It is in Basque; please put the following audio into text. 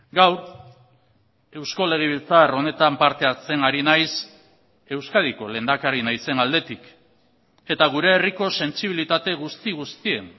gaur eusko legebiltzar honetan parte hartzen ari naiz euskadiko lehendakari naizen aldetik eta gure herriko sentsibilitate guzti guztien